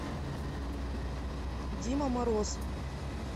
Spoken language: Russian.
дима мороз